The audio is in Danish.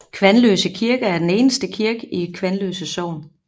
Kvanløse Kirke er den eneste kirke i Kvanløse sogn